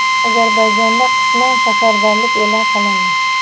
Ozarbayjonda qisman safarbarlik e’lon qilindi.